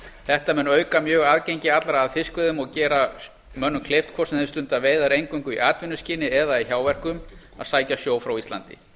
þetta mun auka aðgengi allra að fiskveiðum og gera mönnum kleift hvort sem þeir stunda veiðar eingöngu í atvinnuskyni eða í hjáverkum að sækja sjó frá íslandi